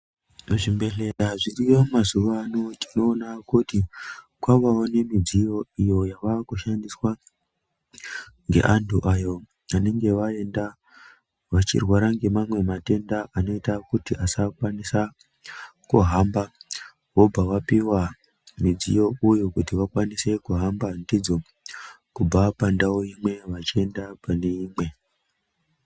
Muzvimbehleya zviriyo mazuva ano tinoona kuti kwavawo nemidziyo iyo yavakushandiswa nge antu ayoo anenge aenda vachirwara nemamwe matenda anoita kuti asakwanisa kuhamba vobva vapiwa midziyo uyuuu kuti vakwanise kuhamba ndidzo kubva pandau imwe vachienda pane imwe